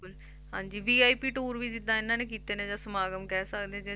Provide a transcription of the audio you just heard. ਹਾਂਜੀ VIP tour ਵੀ ਜਿੱਦਾਂ ਇਹਨਾਂ ਨੇ ਕੀਤੇ ਨੇ ਜਾਂ ਸਮਾਗਮ ਕਹਿ ਸਕਦੇ ਹਾਂ ਜਾਂ